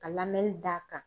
Ka d'a kan.